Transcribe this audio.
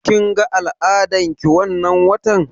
Kin ga al'adar ki wannan watan?